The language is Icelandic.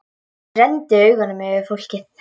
Ég renndi augunum yfir fólkið.